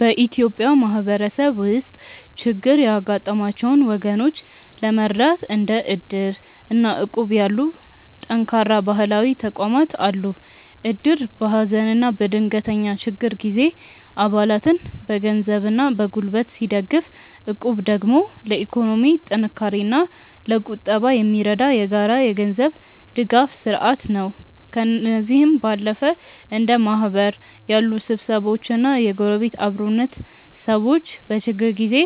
በኢትዮጵያ ማህበረሰብ ውስጥ ችግር ያጋጠማቸውን ወገኖች ለመርዳት እንደ እድር እና እቁብ ያሉ ጠንካራ ባህላዊ ተቋማት አሉ። እድር በሀዘንና በድንገተኛ ችግር ጊዜ አባላትን በገንዘብና በጉልበት ሲደግፍ፣ እቁብ ደግሞ ለኢኮኖሚ ጥንካሬና ለቁጠባ የሚረዳ የጋራ የገንዘብ ድጋፍ ስርአት ነው። ከእነዚህም ባለፈ እንደ ማህበር ያሉ ስብስቦችና የጎረቤት አብሮነት፣ ሰዎች በችግር ጊዜ